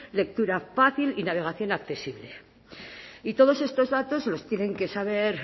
lectura fácil y navegación accesible y todos estos datos los tienen que saber